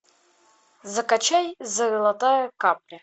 закачай золотая капля